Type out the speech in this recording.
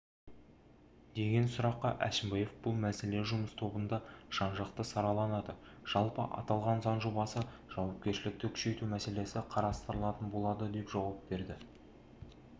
деген сұраққа әшімбаев бұл мәселе жұмыс тобында жан-жақты сараланады жалпы аталған заң жобасы жауапкершілікті күшейту мәселесі қарастырылатын болады деп жауап берді